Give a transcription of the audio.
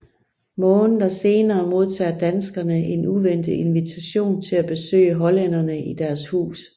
Måneder senere modtager danskerne en uventet invitation til at besøge hollænderne i deres hus